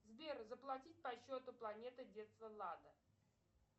сбер заплатить по счету планета детства влада